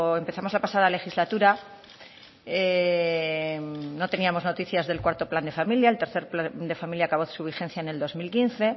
empezamos la pasada legislatura no teníamos noticias del cuarto plan de familia el tercero plan de familia acabó su vigencia en el dos mil quince